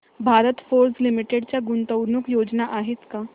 Bharat Forge limited च्या गुंतवणूक योजना आहेत का